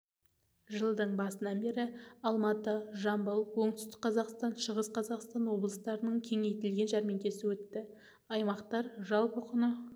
жылдың басынан бері алматы жамбыл оңтүстік қазақстан шығыс қазақстан облыстарының кеңейтілген жәрмеңкесі өтті аймақтар жалпы құны